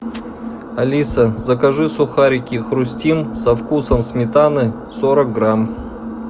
алиса закажи сухарики хрустим со вкусом сметаны сорок грамм